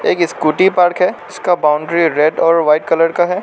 एक scooty park है उसका बाउंड्री रेड और वाइट कलर का है।